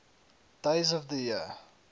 days of the year